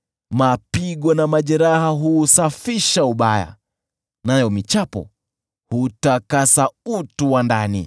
Mapigo na majeraha huusafisha ubaya, nayo michapo hutakasa utu wa ndani.